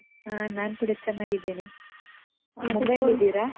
ಹ, ನಾನ್ ಕೂಡ ಚೆನ್ನಾಗಿದ್ದೇನೆ. ಮುಂಬಾಯಿಯಲ್ಲಿದ್ದೀರಾ?